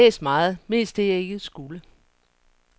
Jeg har altid læst meget, mest det jeg ikke skulle.